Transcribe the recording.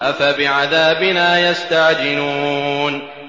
أَفَبِعَذَابِنَا يَسْتَعْجِلُونَ